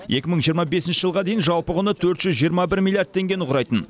екі мың жиырма бесінші жылға дейін жалпы құны төрт жүз жиырма бір миллиард теңге құрайтын